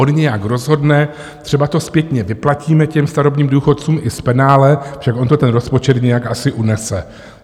On nějak rozhodne, třeba to zpětně vyplatíme těm starobním důchodcům i s penále, však on to ten rozpočet nějak asi unese.